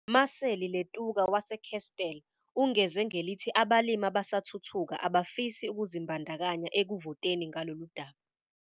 Maseli Letuka wase-Kestell ungeze ngelithi abalimi abasathuthuka abafisi ukuzimbandakanya ekuvoteni ngaloludaba.